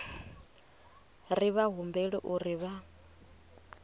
ri vha humbela uri vha